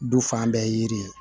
Du fan bɛɛ ye yiri ye